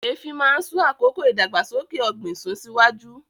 Eefin máa ń sún àkókò ìdàgbàsókè ọ̀gbìn sún síwájú